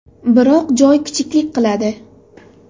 Biroq joy kichiklik qiladi.